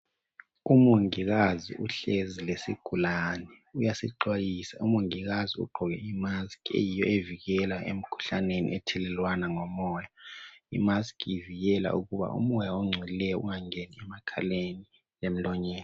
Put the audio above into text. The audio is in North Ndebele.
Umongikazi uhlezi lesigulani uyasixwayisa . Umongikazi ugqoke imask ,eyiyo evikela emkhuhlaneni ethelelwanwa ngomoya .Imask ivikela ukuba umoya ongcolileyo ungangeni emakhaleni lemlonyeni.